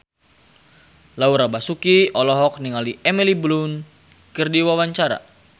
Laura Basuki olohok ningali Emily Blunt keur diwawancara